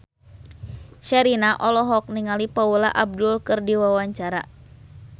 Sherina olohok ningali Paula Abdul keur diwawancara